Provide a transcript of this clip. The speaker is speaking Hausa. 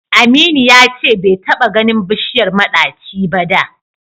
Aminu ya ce bai taɓa ganin bishiyar maɗaci ba da.